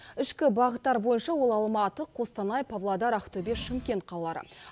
ішкі бағыттар бойынша ол алматы қостанай павлодар ақтөбе шымкент қалалары